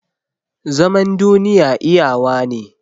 Zaman duniya iyawa ne